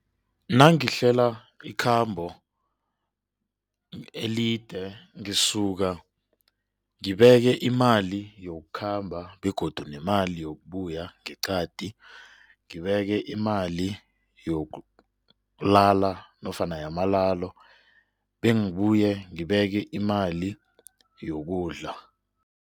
Nangihlela ikhambo elide ngisuka ngibeke imali yokukhamba begodu nemali yokubuya ngeqadi ngibeke imali yokulala nofana yamalalo bengibuye ngibeke imali yokudla.